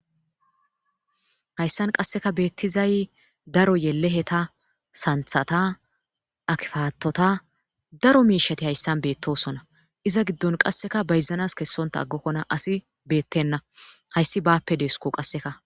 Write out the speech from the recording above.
Hayssan qasseka beetizay daro yeleheta,santhata,abukadota daro miishati haysan beetosona. Iza giddon qasseka bayzanas kessonta aggokona asi beetena. Hayssi baappe deesiko qasseka.